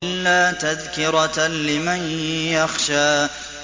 إِلَّا تَذْكِرَةً لِّمَن يَخْشَىٰ